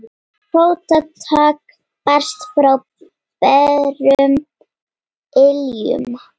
Fótatak barst frá berum iljum.